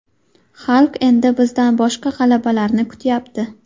Xalq endi bizdan boshqa g‘alabalarni kutyapti.